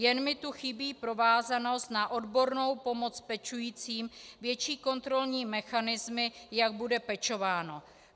Jen mi tu chybí provázanost na odbornou pomoc pečujícím, větší kontrolní mechanismy, jak bude pečováno.